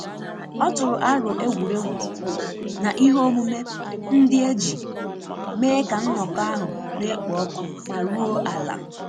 Ọ tụrụ aro egwuregwu na ihe omume ndi eji mee ka nnọkọ ahu na ekpo ọkụ ma ruo ala